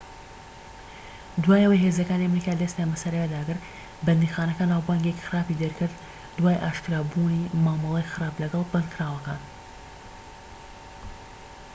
دوای ئەوەی هێزەکانی ئەمریکا دەستیان بەسەر ئەوێدا گرت بەندیخانەکە ناوبانگێکی خراپی دەرکرد دوای ئاشکرابوونی مامەڵەی خراپ لەگەڵ بەندکراوەکان